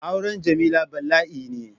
Auren Jamila bala'i ne.